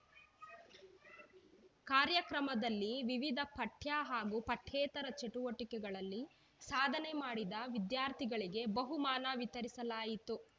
ಕಾರ್ಯಕ್ರಮದಲ್ಲಿ ವಿವಿಧ ಪಠ್ಯ ಹಾಗೂ ಪಠ್ಯೇತರ ಚಟುವಟಿಕೆಗಳಲ್ಲಿ ಸಾಧನೆ ಮಾಡಿದ ವಿದ್ಯಾರ್ಥಿಗಳಿಗೆ ಬಹುಮಾನ ವಿತರಿಸಲಾಯಿತು